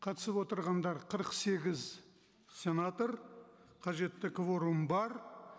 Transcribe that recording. қатысып отырғандар қырық сегіз сенатор қажетті кворум бар